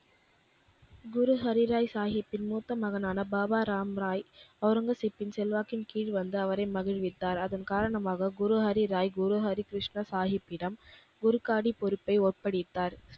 குரு ஹரிராய் சாகிப்ஜியின் மூத்த மகனான பாபா ராம்ராய் ஒளரங்கசீப்பின் செல்வாக்கின் கீழ் வந்து அவரை மகிழ்வித்தார். அதன் காரணமாக குரு ஹரிராய் குரு ஹரிகிருஷ்ண சாகிப்பிடம் குருக்காடி பொறுப்பை ஒப்படைத்தார்.